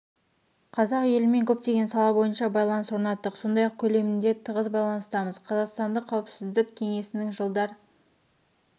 қазақ елімен көптеген сала бойынша байланыс орнаттық сондай-ақ көлемінде тығыз байланыстамыз қазақстанды қауіпсіздік кеңесінің жылдар